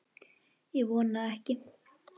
Ég vona ekki.